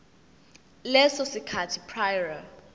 leso sikhathi prior